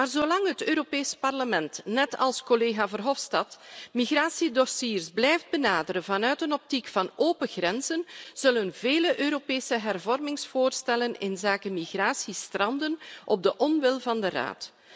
Maar zolang het Europees Parlement, net als collega Verhofstadt, migratiedossiers blijft benaderen vanuit een optiek van open grenzen, zullen vele Europese hervormingsvoorstellen inzake migratie stranden op de onwil van de Raad.